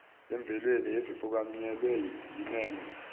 emvelweni ezifukanyelwe yinema